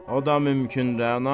O da mümkün, Rəana.